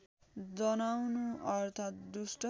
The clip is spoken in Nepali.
जनाउनु अर्थात दुष्ट